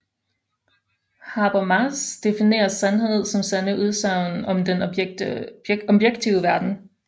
Habermas definerer sandhed som sande udsagn om den objektive verden